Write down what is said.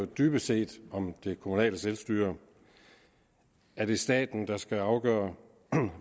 dybest set om det kommunale selvstyre er det staten der skal afgøre